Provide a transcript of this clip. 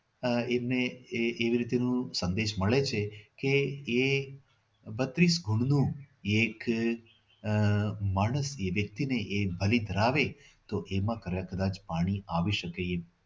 આહ એમને એ એ એવી રીતેનું સંદેશ મળે છે કે એ બત્રીસ ભૂંડનું એક આહ માણસ એ વ્યક્તિ ને બલી કરાવે તો એમાં કદાચ પાણી આવી શકે.